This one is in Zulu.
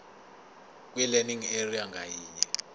kwilearning area ngayinye